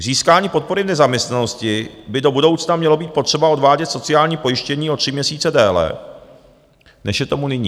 K získání podpory v nezaměstnanosti by do budoucna mělo být potřeba odvádět sociální pojištění o tři měsíce déle, než je tomu nyní.